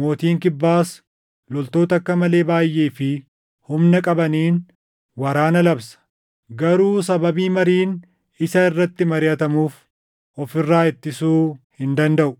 Mootiin Kibbaas loltoota akka malee baayʼee fi humna qabaniin waraana labsa; garuu sababii mariin isa irratti mariʼatamuuf of irraa ittisuu hin dandaʼu.